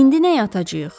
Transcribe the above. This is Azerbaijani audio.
İndi neyə atacayıq?